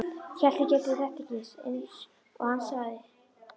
Hélt ég gæti þetta ekki, einsog hann sagði.